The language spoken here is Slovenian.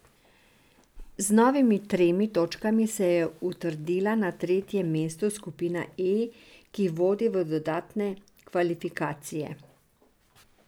Z novimi tremi točkami se je utrdila na tretjem mestu skupine E, ki vodi v dodatne kvalifikacije.